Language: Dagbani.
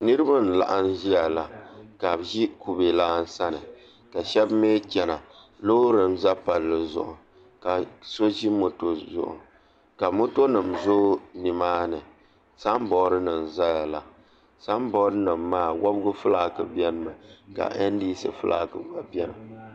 Niraba n laɣam ʒiya la ka bi ʒi kubɛ lan sani ka shaba mii chɛna loori n ʒɛ palli zuɣu ka so ʒi moto zuɣu ka moto nim zooi nimaani sanbood nim n ʒɛya la sanbood nim maa wobigi fulaaki biɛni mi ka ndc gba fulaaki bɛ nimaani